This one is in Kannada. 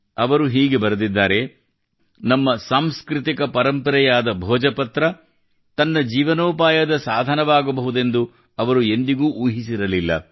ಅವರು ಹೀಗೆ ಬರೆದಿದ್ದಾರೆ ನಮ್ಮ ಸಾಂಸ್ಕೃತಿಕ ಪರಂಪರೆಯಾದ ಭೋಜಪತ್ರ ತನ್ನ ಜೀವನೋಪಾಯದ ಸಾಧನವಾಗಬಹುದೆಂದು ಅವರು ಎಂದಿಗೂ ಊಹಿಸಿರಲಿಲ್ಲ